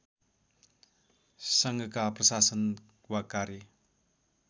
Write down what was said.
सङ्घका प्रशासन वा कार्य